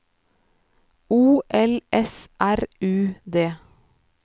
O L S R U D